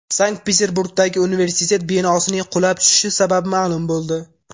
Sankt-Peterburgdagi universitet binosining qulab tushishi sababi ma’lum bo‘ldi.